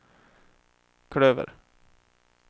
klöver